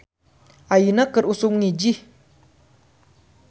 "Ayeuna keur usum ngijih "